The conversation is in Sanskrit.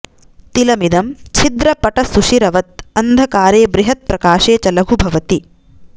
तिलमिदं छिद्रपटसुषिरवत् अन्धकारे बृहद् प्रकाशे च लघु भवति